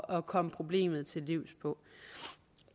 at komme problemet til livs på